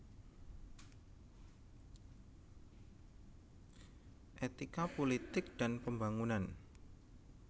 Etika Pulitik dan Pembangunan